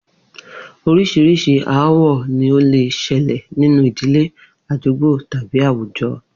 Orís̩irís̩i aáwò̩ ni ó lè s̩e̩lè̩ nínú ìdílé, àdúgbò tàbí àwùjo̩